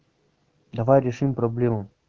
давай решим проблему